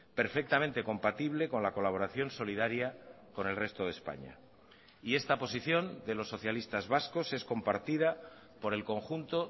perfectamente compatible con la colaboración solidaria con el resto de españa y esta posición de los socialistas vascos es compartida por el conjunto